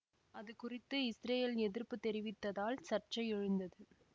அதுகுறித்து இசுரயேல் எதிர்ப்பு தெரிவித்ததால் சர்ச்சை எழுந்தது